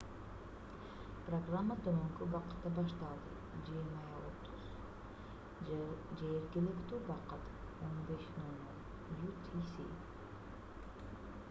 программа төмөнкү убакытта башталды: 20:30 жергиликтүү убакыт 15:00 utc